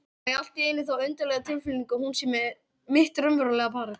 Og fæ allt í einu þá undarlegu tilfinningu að hún sé mitt raunverulega barn.